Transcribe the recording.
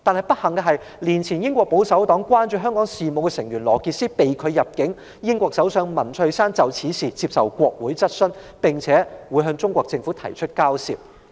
不幸的是，一年前英國保守黨關注香港事務的成員羅傑斯被拒入境，英國首相文翠珊就此事接受國會質詢，並向中國政府提出交涉。